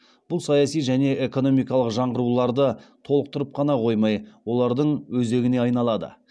бұл саяси және экономикалық жаңғыруларды толықтырып қана қоймай олардың өзегіне айналады